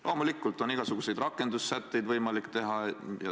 Loomulikult, igasuguseid rakendussätteid on võimalik teha.